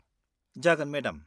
जागोन मेडाम।